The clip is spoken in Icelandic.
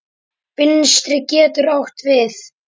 Vinstri getur átt við